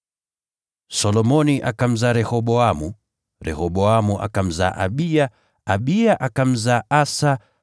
Solomoni akamzaa Rehoboamu, Rehoboamu akamzaa Abiya, Abiya akamzaa Asa,